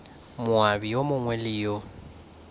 moabi yo mongwe le yo